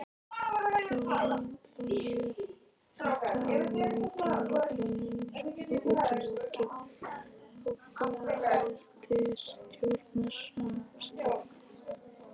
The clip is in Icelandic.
Þóra: Þannig að þetta áhugamál Framsóknar útiloki áframhaldandi stjórnarsamstarf?